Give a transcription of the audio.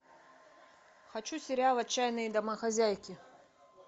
хочу сериал отчаянные домохозяйки